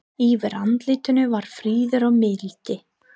Yfir andlitinu var friður og mildi.